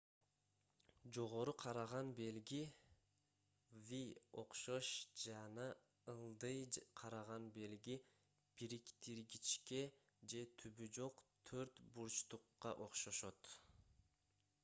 жогору караган белги v окшош жана ылдый караган белги бириктиргичке же түбү жок төрт бурчтукка окшошот